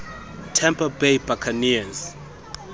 tampa bay buccaneers